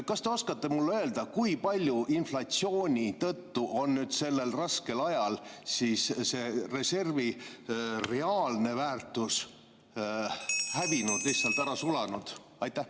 Kas te oskate mulle öelda, kui palju inflatsiooni tõttu on sellel raskel ajal see reservi reaalne väärtus hävinud, lihtsalt ära sulanud?